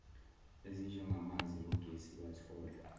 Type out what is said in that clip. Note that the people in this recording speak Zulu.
ezinjengamanzi nogesi bathola